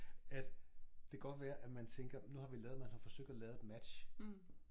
At det godt være at man tænker nu har vi lavet man har forsøgt at lave et match